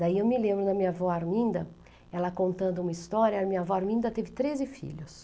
Daí eu me lembro da minha avó Arminda, ela contando uma história, a minha avó Arminda teve treze filhos.